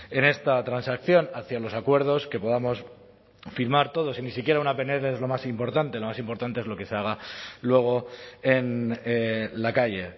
en esta transacción hacia los acuerdos que podamos afirmar todos y ni siquiera una pnl es lo más importante lo más importante es lo que se haga luego en la calle